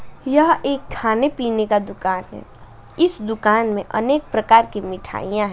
यह एक खाने पीने का दुकान है इस दुकान में अनेक प्रकार की मिठाइयां हैं।